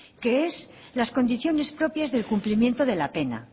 que es las condiciones propias del cumplimiento de la pena